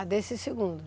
Ah, desse segundo.